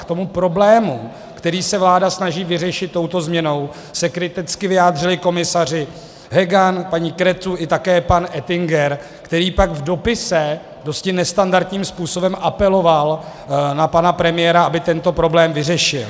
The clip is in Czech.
K tomu problému, který se vláda snaží vyřešit touto změnou, se kriticky vyjádřili komisaři Hogan, paní Cretu a také pan Oettinger, který pak v dopise dosti nestandardním způsobem apeloval na pana premiéra, aby tento problém vyřešil.